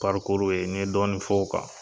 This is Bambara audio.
ye n ye dɔɔnin fɔ o kan.